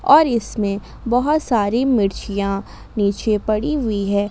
और इसमें बहुत सारी मिर्चीयां नीचे पड़ी हुई हैं।